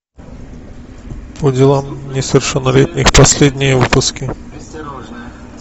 по делам несовершеннолетних последние выпуски